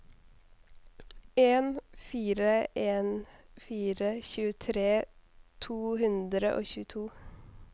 en fire en fire tjuetre to hundre og tjueto